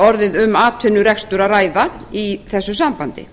orðið um atvinnurekstur að ræða í þessu sambandi